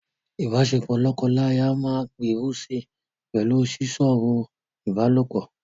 Ìbáṣepọ̀ lọ́kọláya máa gbèrú si pẹ̀lú sísọ̀rọ̀ ìbálòpọ̀.